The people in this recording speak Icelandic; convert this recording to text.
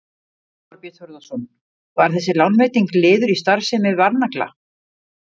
Þorbjörn Þórðarson: Var þessi lánveiting liður í starfsemi Varnagla?